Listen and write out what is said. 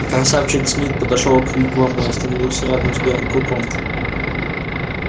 красавчик смит подошёл к вигваму и остановился рядом с белым клыком